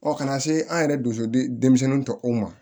ka na se an yɛrɛ dusɛmisɛnninw tɔw ma